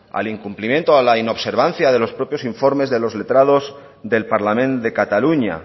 al incumplimiento a la inobservancia de los propios informes de los letrados del parlament de cataluña